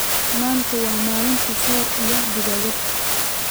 manta wa Malinta sor iyo digagad